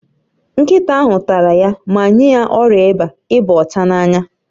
Nkịta ahụ tara ya ma nye ya ọrịa ịba ịba ọcha n'anya